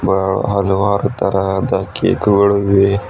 ಒಹಳ ಹಲವಾರು ತರಹದ ಕೇಕು ಗಳು ಇವೆ.